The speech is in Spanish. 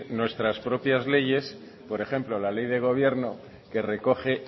nuestras propias leyes por ejemplo la ley de gobierno que recoge